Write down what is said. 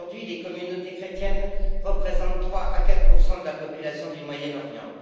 Aujourd'hui, les communautés chrétiennes représentent 3 à 4 de la population du Moyen Orient.